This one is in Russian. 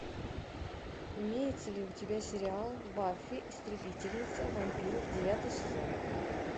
имеется ли у тебя сериал баффи истребительница вампиров девятый сезон